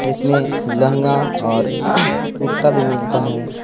इसमें लहंगा और कुर्ता भी मिलता है।